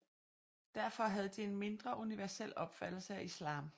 Derfor havde de en mindre universel opfattelse af islam